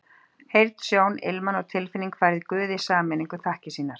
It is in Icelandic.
Heyrn, sjón, ilman og tilfinning færðu Guði í sameiningu þakkir sínar.